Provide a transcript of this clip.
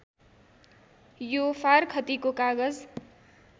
यो फारखतीको कागज